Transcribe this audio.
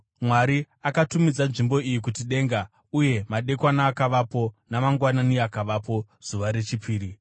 Mwari akatumidza nzvimbo iyi kuti “denga.” Uye madekwana akavapo, namangwanani akavapo, zuva rechipiri.